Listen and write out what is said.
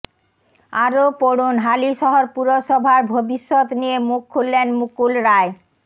আরও পড়ুন হালিশহর পুরসভার ভবিষ্যৎ নিয়ে মুখ খুললেন মুকুল রায়